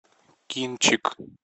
кинчик